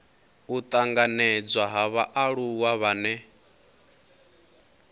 u tanganedzwa ha vhaaluwa vhane